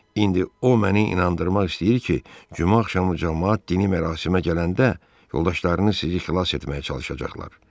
İndi o məni inandırmaq istəyir ki, cümə axşamı camaat dini mərasimə gələndə yoldaşlarını sizi xilas etməyə çalışacaqlar.